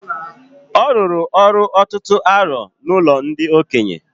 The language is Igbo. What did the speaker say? Ọ rụrụ ọrụ ọtụtụ arọ n'ụlọ ndị okenye